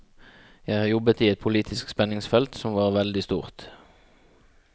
Jeg har jobbet i et politisk spenningsfelt som var veldig stort.